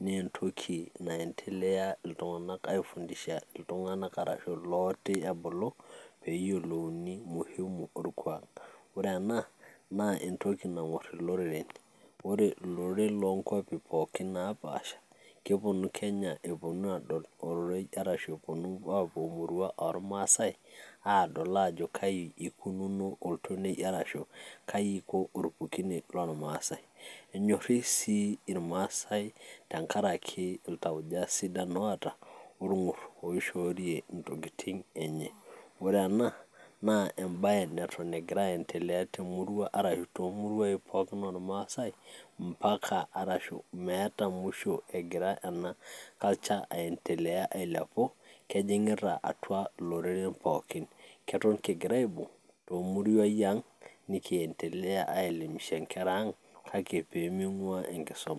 nentoki naendelea iltung'anak ai fundisha iltung'anak arashu ilooti ebulu, peyiolouni muhimu orkuak. Ore ena, naa entoki nang'uar iloreren. Ore iloreren lonkwapi pookin napaasha, keponu Kenya eponu adol ororei arashu eponu apuo emurua ormaasai, adol ajo kai ikununo oltonei arashu kai iko orpukunet lormasai. Nyorri si irmaasai tenkaraki iltauja sidan oata, orng'ur oishoorie intokiting enye. Ore ena, naa ebae neto egira aendelea temurua, arashu tomuruai pookin ormaasai, mpaka arashu meeta musho egira ena culture aendelea ailepu, kejing'ita atua iloreren pookin. Keton kigira aibung',tomuruai ang',nikiendelea ai elimisha nkera ang',kake peming'ua enkisoma.